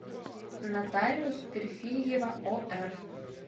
нотариус перфильева ор